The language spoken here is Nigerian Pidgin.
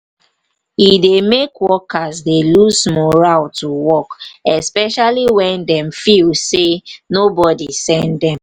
e dey make workers dey lose morale to work especially when dem feel say nobody send them